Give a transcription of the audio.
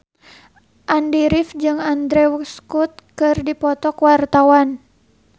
Andy rif jeung Andrew Scott keur dipoto ku wartawan